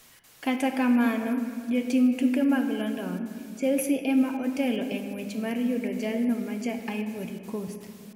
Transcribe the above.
Kata kamano, jotim tuke mag London Chelsea ema otelo e ng'wech mar yudo jalno ma Ja-Ivory Coast.